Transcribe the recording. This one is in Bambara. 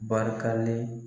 Barikalen.